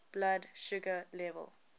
blood sugar level